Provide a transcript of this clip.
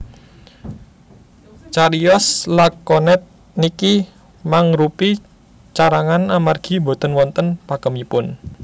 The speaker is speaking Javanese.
Cariyos lakonet niki mangrupi carangan amargi boten wonten pakemipun